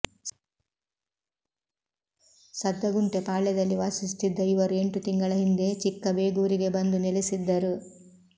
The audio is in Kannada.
ಸದ್ದಗುಂಟೆ ಪಾಳ್ಯದಲ್ಲಿ ವಾಸಿಸುತ್ತಿದ್ದ ಇವರು ಎಂಟು ತಿಂಗಳ ಹಿಂದೆ ಚಿಕ್ಕಬೇಗೂರಿಗೆ ಬಂದು ನೆಲೆಸಿದ್ದರು